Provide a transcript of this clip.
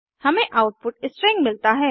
हमें output string मिलता है